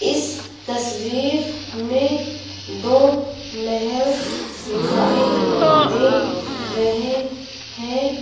इस तस्वीर में दो महल दिखाई दे रहे हैं।